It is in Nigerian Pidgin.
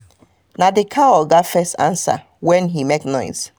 na the cow oga oga first answer when he mak noise